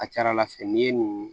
A ka ca ala fɛ n'i ye nin